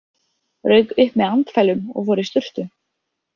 Rauk upp með andfælum og fór í sturtu.